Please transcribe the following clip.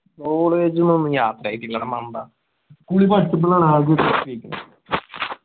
college ന്ന് ഒന്നും യാത്ര ചെയ്തില്ലടാ മണ്ട. school ല് പഠിച്ചപ്പോഴാണ് ആകെയായിട്ട് ചെയ്തേ.